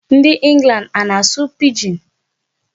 Ndị England ana-asụ Pidgin?